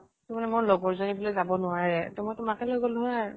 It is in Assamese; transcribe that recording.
তাৰ মানে মোৰ লগৰ জনী বুলে যাব নোৱাৰে, ত মই তোমাকে লৈ গলো হয় আৰু।